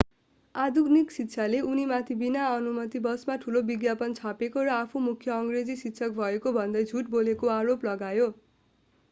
आधुनिक शिक्षाले उनीमाथि बिना अनुमति बसमा ठूला विज्ञापन छापेको र आफू मुख्य अंग्रेजी शिक्षक भएको भन्दै झूट बोलेको आरोप लगायो